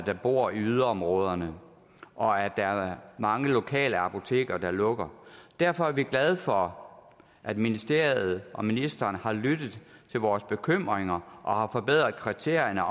der bor i yderområderne og at der er mange lokale apoteker der lukker derfor er vi glade for at ministeriet og ministeren har lyttet til vores bekymringer og forbedret kriterierne